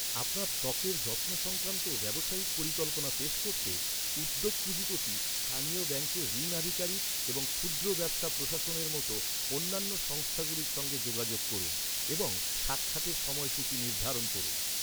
আপনার ত্বকের যত্ন সংক্রান্ত ব্যবসায়িক পরিকল্পনা পেশ করতে, উদ্যোগ পুঁজিপতি, স্থানীয় ব্যাঙ্কের ঋণ আধিকারিক এবং ক্ষুদ্র ব্যবসা প্রশাসনের মতো অন্যান্য সংস্থাগুলির সঙ্গে যোগাযোগ করুন এবং সাক্ষাতের সময়সূচী নির্ধারণ করুন।